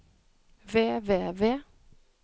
ved ved ved